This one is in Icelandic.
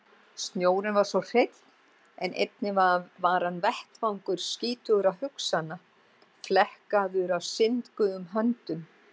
Snjórinn var svo hreinn en einnig hann var vettvangur skítugra hugsana, flekkaður af syndugum höndum.